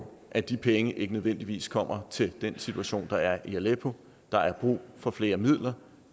at de penge ikke nødvendigvis kommer til den situation der er i aleppo der er brug for flere midler